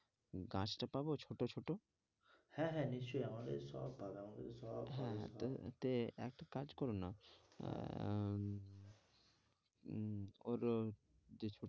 গাছটা পাবো ছোটো ছোট হ্যাঁ, হ্যাঁ নিশ্চই আমার কাছে সব পাবে, আমার কাছে সব পাবে হ্যাঁ, হ্যাঁ আহ একটা কাজ করো না আহ উম ওর যে